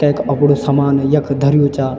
तैक अप्डू सामान यख धर्यु चा।